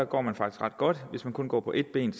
går man faktisk ret godt hvis man kun går på ét ben